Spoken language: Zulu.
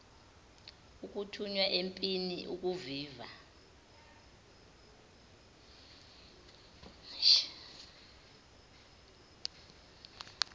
ukuthunywa empini ukuviva